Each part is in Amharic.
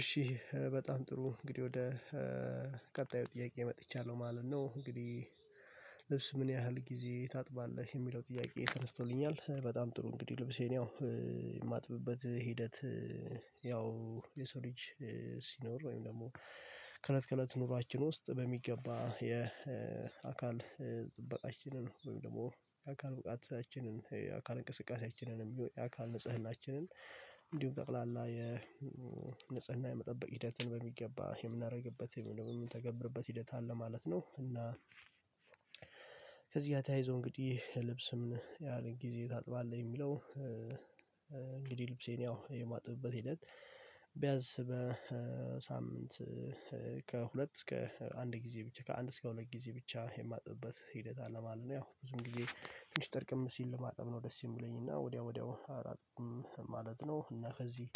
እሺ በጣም ጥሩ እንግዲህ ወደ ቀጣዩ ጥያቄ መጥቻለሁ ማለት ነው። እንግዲህ ልብስ ምን ያህል ጊዜ ታጥባለህ የሚለው ጥያቄ ተነስቶልኛል። በጣም ጥሩ እንግዲህ ልብሴን ያው ሂደት ያው የሰው ልጅ ሲኖር ወይም ደግሞ ከለት ከለት ኑሯችን ውስጥ በሚገባ የአካል ጥበቃችንን ወይም ደግሞ የአካል ብቃታችንን የአካል እንቅስቃሴያችንንም ቢሆን የአካል ንጽህናችንን እንዲሁም ጠቅላላ የ ንጽህና የመጠበቅ ሂደትን በሚገባ የምናደርግበት የምንተገብርበት ሂደት አለ ማለት ነው እና ከዚህ ጋር ተያይዞ እንግዲህ ልብስም ምን ያህል ጊዜ ታጥባለህ? የሚለው እንግዲህ ልብሴን ያው የማጥብበት ሂደት ቢያንስ በሳምንት ከሁለት እስከ አንድ ጊዜ ብቻ ከአንድ እስከ ሁለት ጊዜ ብቻ የማጥብበት ሂደት አለማለት ነው። ያው ብዙም ጊዜ ትንሽ ጥርቅም ሲል ለማጠብ ነው ደስ የሚለኝ እና ወዲያው ወዲያው አላጥብም ማለት ነው። እና ከዚህ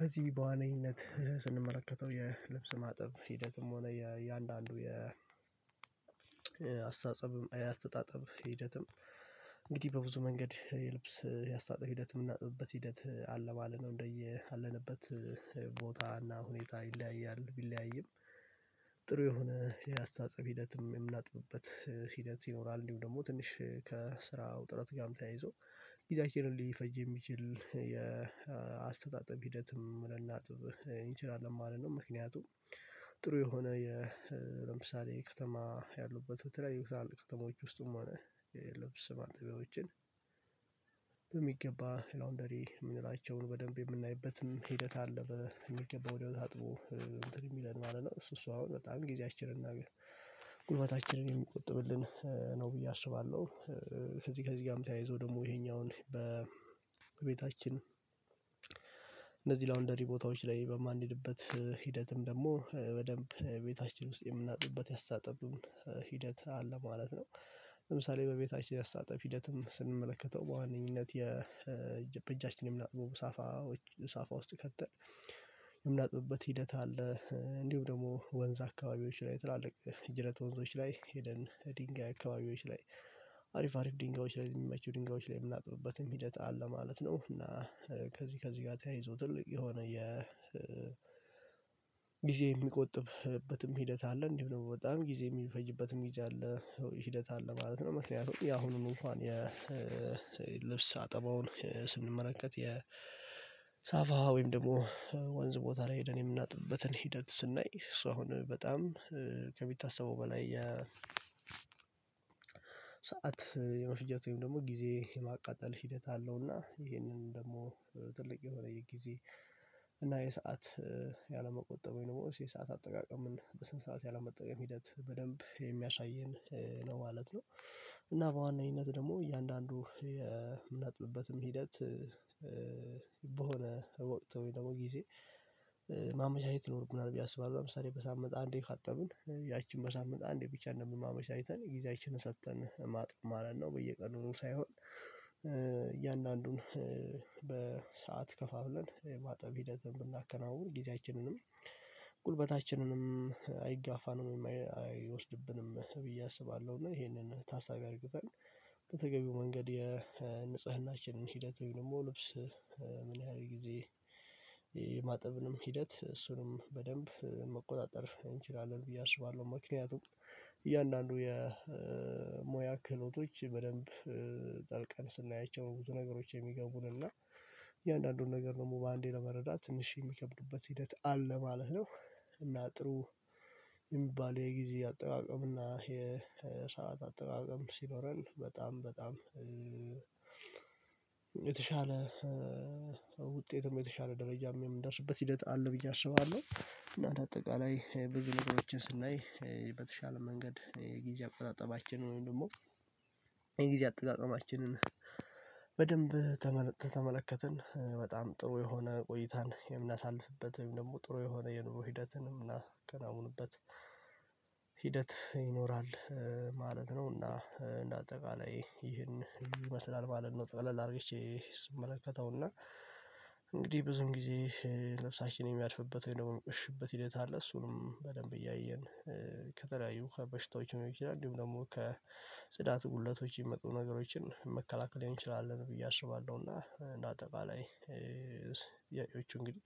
ከዚህ በዋነኝነት ስንመለከተው የልብስ ማጠብ ሂደትም ሆነ የእያንዳንዱ የአስተአጽኦ አያስተጣጥብ ሂደትም እንግዲህ በብዙ መንገድ የልብስ ያስተጣጥብ ሂደትም የምናጥብበት ሂደት አለ ማለት ነው። እንደያለንበት ቦታ እና ሁኔታ ይለያያል ቢለያይም ጥሩ የሆነ የአስተጣጥበብ ሂደትም የምናጥብበት ሂደት ይኖራል እንዲሁ ደግሞ ትንሽ ከስራው ውጥረት ጋርም ተያይዞ ጊዜያችንን ሊፈጅ የሚችል የአስተጣጥብ ሂደትም ልናጥብ እንችላለን ማለት ነው። ምክንያቱም ጥሩ የሆነ የለምሳሌ ከተማ ያሉበት በተለይ የታላቅ ቅጥሞች ውስጥ ማጠቢያዎችን በሚገባ ላውንደሪ የምንላቸውን በደንብ የምናይበትም ሂደት አለ በሚገባው ወዲያው አጥቦ የሚለን ማለት ነው። እሱ እሱ አሁን በጣም ጊዜያችንን እናገር ጉልበታችንን የምቆጥብልን ነው ብዬ አስባለሁ። ከዚህ ከዚህ ተያይዞ ደግሞ ይሄኛውን በቤታችን እንደዚህ ላውንደሪ ቦታዎች ላይ በማንሄድበት ሂደትም ደግሞ በደንብ ቤታችን ውስጥ የምናጥብበት አስተጣጥብ ሂደት አለ ማለት ነው። ለምሳሌ በቤታችን ያስትጣጥብ ሂደትም ስንመለከተው በዋነኝነት የበጃችንም የምናጥበው ሳፋ ውስጥ ከተን የምናጥብበት ሂደት አለ። እንዲሁ ደግሞ ወንዝ አካባቢዎች ላይ ትላልቅ ጅረት ወንዞች ላይ ሄደን ድንጋይ አካባቢዎች ላይ አሪፍ አሪፍ ድንጋዮች ላይ የሚመቹ ድንጋዮች ላይ የምናጥብበትም ሂደት አለ ማለት ነው። እና ከዚህ ከዚህ ጋር ተያይዞ ትልቅ የሆነ የ ጊዜ ሚቆጥብበትም ሂደት አለ እንዲሁ ነው በጣም ጊዜ የሚፈጅበትም ጊዜ አለ ሂደት አለ ማለት ነው። ምክኒያቱም ያሁኑን እንኳን የልብስ አጠባውን ስንመለከት የሳፋ ወይም ደግሞ ወንዝ ቦታ ላይ ሄደን የምናጥብበትን ሂደት ስናይ ሶ አሁን በጣም ከሚታሰበው በላይ የ ሰዓት የመፍጀት ወይም ደግሞ ጊዜ የማቃጠል ሂደት አለው። እና ይሄንን ደግሞ ትልቅ የሆነ የጊዜ እና የሰዓት ያለመቆጠብ የኖረው የሰዓት አጠቃቀምን በስንት ሰዓት ያለመጠቀም ሂደት በደንብ የሚያሳየን ነው ማለት ነው። እና በዋናነት ደግሞ እያንዳንዱ የምናጥብበትም ሂደት በሆነ ወቅት ወይ ደግሞ ጊዜ ማመቻቸት ይኖርብናል ብዬ አስባለሁ። ለምሳሌ በሳምንት አንዴ ካጠብን ያቺን በሳምንት አንዴ ብቻ እንደምንም አመቻችተን ጊዜያችንን ሰጥተን ማጥ ማለት ነው። በየቀኑ ነው ሳይሆን እያንዳንዱን በሰአት ከፋፍለን ማጠብ ሂደትን ብናከናውን ጊዜያችንንም ጉልበታችንንም አይጋፋንም አይወስድብንም ብዬ አስባለሁ። እና ይሄንን ታሳቢ አድርግተን በተገቢው መንገድ የንጽህናችንን ሂደት ወይም ደግሞ ልብስ ምን ያህል ጊዜ የማጥብንም ሂደት እሱንም በደንብ መቆጣጠር እንችላለን ብዬ አስባለሁ። ምክንያቱም እያንዳንዱ የሙያ ክህሎቶች በደንብ ስናያቸው ብዙ ነገሮች የሚገቡን እና እያንዳንዱን ነገር ደግሞ በአንዴ ለመረዳት ትንሽ የሚከብዱበት ሂደት አለ ማለት ነው። እና ጥሩ የሚባል የጊዜ አጠቃቀም እና የሰዓት አጠቃቀም ሲኖረን በጣም በጣም የተሻለ ውጤትም የተሻለ ደረጃም የምንደርስበት ሂደት አለ ብዬ አስባለሁ። እና አጠቃላይ በግልጽ ነገሮችን ስናይ በተሻለ መንገድ የጊዜ አጠቃቀማችንን ወይም ደግሞ የጊዜ አጠቃቀማችንን በደንብ ተመለከትን በጣም ጥሩ የሆነ ቆይታን የምናሳልፍበት ወይም ደግሞ ጥሩ የሆነ የኑሮ ሂደትንም የምናከናውንበት ሂደት ይኖራል ማለት ነው። እና እንደ አጠቃላይ ይህን ይመስላል ማለት ነው። ጠቅለል አድርጌቼ ስመለከተውና እንግዲህ ብዙም ጊዜ ልብሳችንን የሚያድፍበትን ደግሞ የሚቆሽሽበት ሂደት አለ እሱንም በደንብ እያየን ከተለያዩ ውሃ በሽታዎች ነው ይችላል እንዲሁም ደግሞ ከጽዳት ጉድለቶች የሚመጡ ነገሮችን መከላከል እንችላለን ብዬ አስባለሁ እና እንደ አጠቃላይ የጮሽ እንግዲህ